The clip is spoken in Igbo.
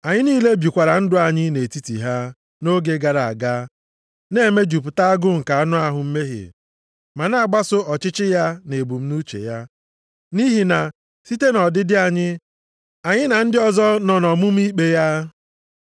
Anyị niile bikwara ndụ anyị nʼetiti ha, nʼoge gara aga, na-emejupụta agụụ nke anụ ahụ mmehie, ma na-agbaso ọchịchọ ya na ebumnuche ya. Nʼihi na site nʼọdịdị anyị, anyị na ndị ọzọ nọ nʼọmụma ikpe ya.